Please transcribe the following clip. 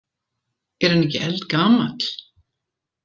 Er hann ekki eldgamall?